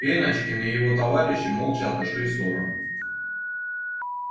пеночкин и его товарищи молча отошли в сторону